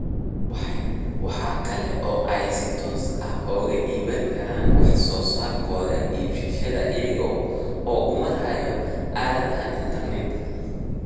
Waxa kale oo ay si toos ah uga iibin karaan wax soo saarkooda iibsadayaasha iyaga oo u maraya aaladaha internetka.